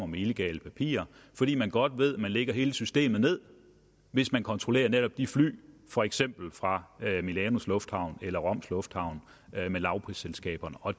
med illegale papirer fordi man godt ved at man lægger hele systemet ned hvis man kontrollerer netop de fly for eksempel fra milanos lufthavn eller roms lufthavn med lavprisselskaberne og